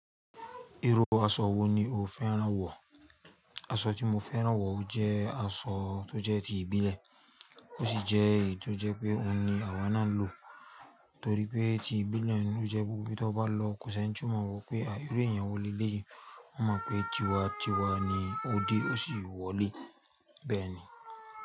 Irú aṣọ wo ni o fẹ́ran wọ̀? Aṣọ tí mo fẹ́ran wọ̀ jẹ́ aṣọ tó jẹ́ ti ìbílẹ̀. Ó sì jẹ́ èyí tó jẹ́ pé òun ni àwọn ná ń lò. Torí pé ti ìbílẹ̀ jẹ́ gbogbo tí ó bá lọ kò ṣé ẹ́ tú mọ̀ pé irú ẹ̀yàn wo ni eléyì mo mọ̀ pé tiwa ń tiwa ni ó dé, ó sì wọlé. Bẹ́ẹ̀ ni.